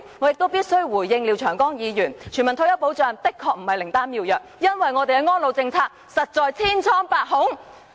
我亦必須回應廖長江議員的評論，全民退休保障的確不是靈丹妙藥，因為我們的安老政策，實在千瘡百孔。